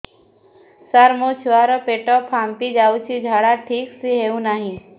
ସାର ମୋ ଛୁଆ ର ପେଟ ଫାମ୍ପି ଯାଉଛି ଝାଡା ଠିକ ସେ ହେଉନାହିଁ